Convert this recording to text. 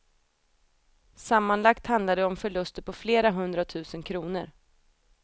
Sammanlagt handlar det om förluster på flera hundratusen kronor.